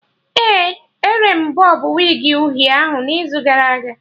Ee, ere m bọb wigi uhie ahụ n'izu gara aga